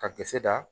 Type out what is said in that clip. Ka gese da